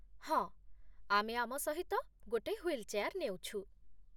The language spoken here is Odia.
ହଁ, ଆମେ ଆମ ସହିତ ଗୋଟେ ହ୍ୱିଲ୍ ଚେୟାର ନେଉଛୁ।